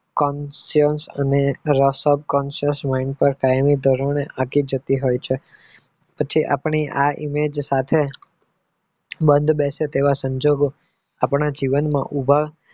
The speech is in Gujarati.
ખાતી જતી હોય છે પછી આપણી આ image સાથે બંધ બેસે તેવા સંજોગો આપણા જીવનમાં ઉભા